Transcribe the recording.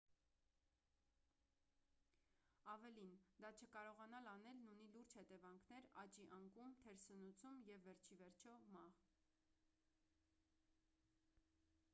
ավելին դա չկարողանալ անելն ունի լուրջ հետևանքներ աճի անկում թերսնուցում և վերջիիվերջո մահ